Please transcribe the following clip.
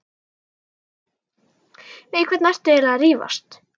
Við hvern ertu eiginlega að rífast?